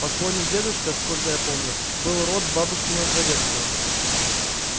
покойный дедушка сколько я помню был род бабушкиного дворецкого